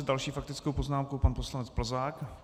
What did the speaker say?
S další faktickou poznámkou pan poslanec Plzák.